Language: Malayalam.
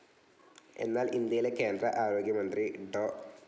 എന്നാൽ ഇന്ത്യയിലെ കേന്ദ്ര ആരോഗ്യമന്ത്രി ഡോ.